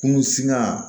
Kunun singa